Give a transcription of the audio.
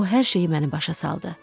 O hər şeyi mənə başa saldı.